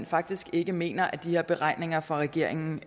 faktisk ikke mener at de her beregninger fra regeringens